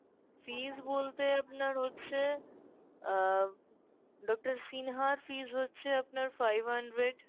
fees বলতে আপনার হচ্ছে আহ doctor সিনহার fees হচ্ছে আপনার five hundred